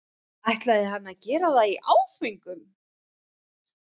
ætlaði hann að gera það í áföngum?